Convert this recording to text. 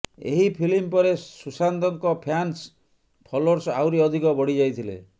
ଏହି ଫିଲ୍ମ ପରେ ସୁଶାନ୍ତଙ୍କ ଫ୍ୟାନ୍ସ ଫଲୋର୍ସ ଆହୁରି ଅଧିକ ବଢ଼ି ଯାଇଥିଲେ